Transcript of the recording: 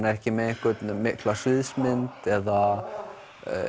ekki með mikla sviðsmynd eða